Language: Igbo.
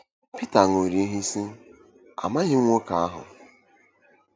Pita ṅụrụ iyi, sị: “Amaghị m nwoke ahụ!”